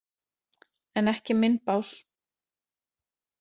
En ekki minn bás.